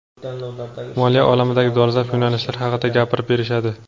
moliya olamidagi dolzarb yo‘nalishlar haqida gapirib berishadi.